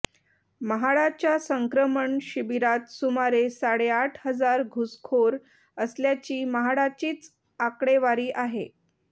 म्हाडाच्या संक्रमण शिबिरात सुमारे साडेआठ हजार घुसखोर असल्याची म्हाडाचीच आकडेवारी आहे